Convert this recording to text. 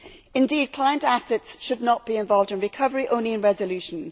Indeed, client assets should not be involved in recovery, only in resolution.